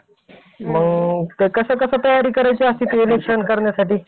ते कसं कसं तयारी करायची असती election करण्यासाठी?